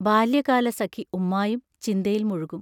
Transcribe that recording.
ബാല്യകാലസഖി ഉമ്മായും ചിന്തയിൽ മുഴുകും.